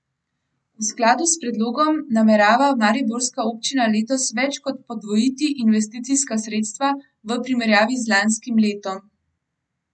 V skladu s predlogom namerava mariborska občina letos več kot podvojiti investicijska sredstva v primerjavi z lanskim letom.